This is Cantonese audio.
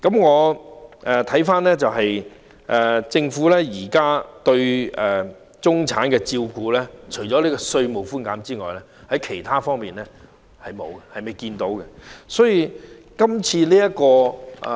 回顧政府現時對中產的照顧，除了稅務寬減外，在其他方面我們還未看到有何措施。